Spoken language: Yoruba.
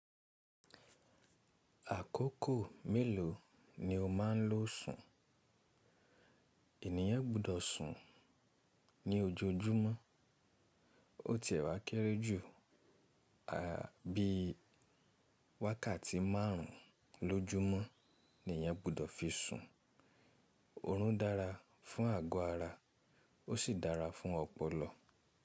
Àkókò mélòó ni o máa ń lò sùn? Ènìyàn gbọdọ̀ sùn ní ojoojúmọ́. Ó ti ẹ̀wà kéré jù àbí wákàtí márùn-ún lójúmọ́ ni èyàn gbọdọ̀ fi sùn. Òórùn dára fún àgọ̀ ara ó sì dára fún ọpọlọ.